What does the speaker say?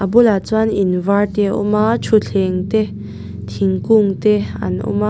a bulah chuan in var te a awm a thuthleng te thingkung te an awm a.